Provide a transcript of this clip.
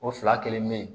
O fila kelen bɛ yen